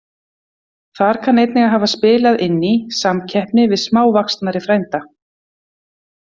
Þar kann einnig að hafa spilað inn í samkeppni við smávaxnari frænda.